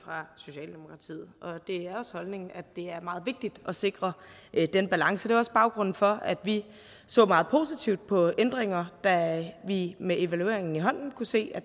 socialdemokratiet og det er også holdningen at det er meget vigtigt at sikre den balance det er også baggrunden for at vi så meget positivt på ændringer da vi med evalueringen i hånden kunne se at